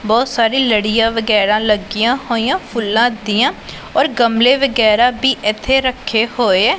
ਬਹੁਤ ਸਾਰੀ ਲੜੀਆ ਵਗੈਰਾ ਲੱਗੀਆਂ ਹੋਈਆਂ ਫੁੱਲਾਂ ਦੀਆ ਔਰ ਗਮਲੇ ਵਗੈਰਾ ਵੀ ਇੱਥੇ ਰੱਖੇ ਹੋਏ।